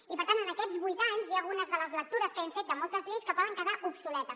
i per tant en aquests vuit anys hi ha algunes de les lectures que hem fet de moltes lleis que poden quedar obsoletes